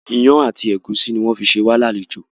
Ìyàn àti ẹ̀gúsí ni wọn fi ṣé wá ní àlejò